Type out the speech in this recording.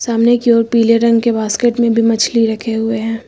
सामने की ओर पीले रंग के बास्केट में भी मछली रखे हुए है।